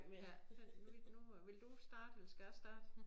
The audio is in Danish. Ja men nu nu øh vil du starte eller skal jeg starte